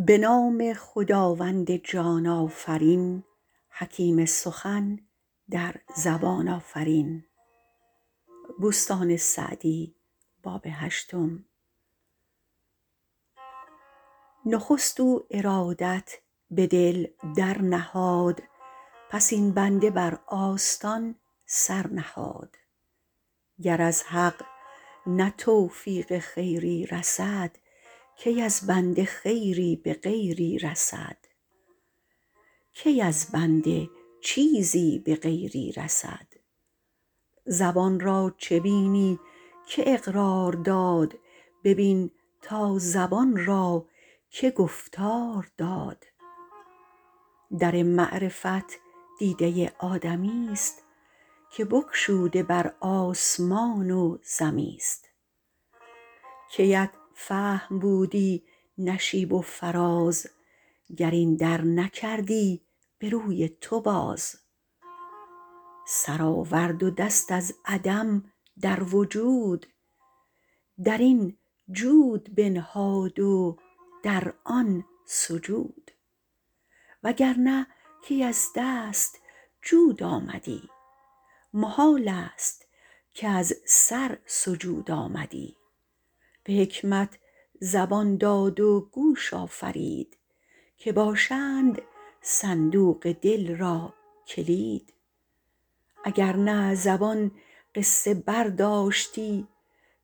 نخست او ارادت به دل در نهاد پس این بنده بر آستان سر نهاد گر از حق نه توفیق خیری رسد کی از بنده چیزی به غیری رسد زبان را چه بینی که اقرار داد ببین تا زبان را که گفتار داد در معرفت دیده آدمی است که بگشوده بر آسمان و زمی است کیت فهم بودی نشیب و فراز گر این در نکردی به روی تو باز سر آورد و دست از عدم در وجود در این جود بنهاد و در آن سجود وگرنه کی از دست جود آمدی محال است کز سر سجود آمدی به حکمت زبان داد و گوش آفرید که باشند صندوق دل را کلید اگر نه زبان قصه برداشتی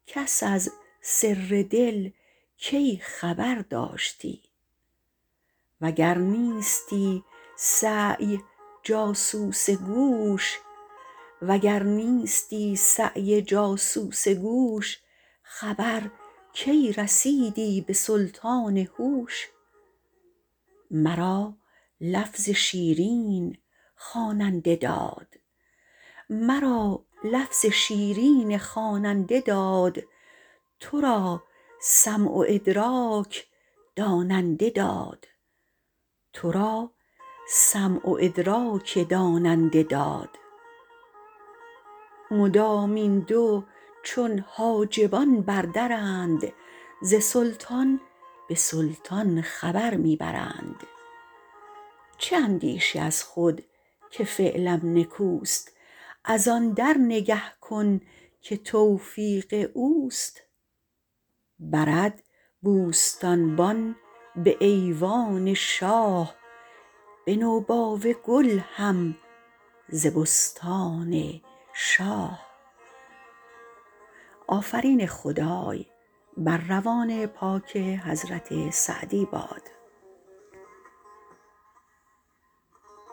کس از سر دل کی خبر داشتی وگر نیستی سعی جاسوس گوش خبر کی رسیدی به سلطان هوش مرا لفظ شیرین خواننده داد تو را سمع و ادراک داننده داد مدام این دو چون حاجبان بر درند ز سلطان به سلطان خبر می برند چه اندیشی از خود که فعلم نکوست از آن در نگه کن که توفیق اوست برد بوستانبان به ایوان شاه به نوباوه گل هم ز بستان شاه